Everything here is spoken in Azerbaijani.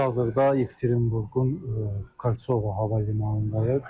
Biz hazırda Yekaterinburqun Kolçova hava limanındayıq.